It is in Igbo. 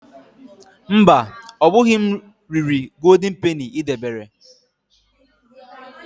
Mba, ọbụghị m riri Goldin Peni i debere.